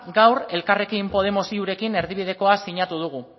gaur elkarrekin podemos iurekin erdibidekoa sinatu dugu